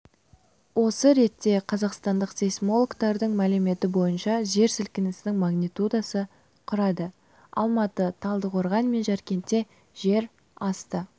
осы ретте қазақстандық сейсмологтардың мәліметі бойынша жер сілкінісінің магнитудасы құрады алматы талдықорған мен жаркентте жер асты